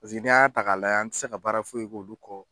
Pasiki n'i y'a ta k'a layɛ an tɛ se ka baara foyi ko olu kɔ.